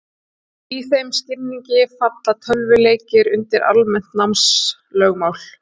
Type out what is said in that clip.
í þeim skilningi falla tölvuleikir undir almennt námslögmál